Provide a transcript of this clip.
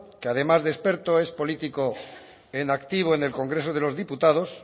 que además de experto es político en activo en el congreso de los diputados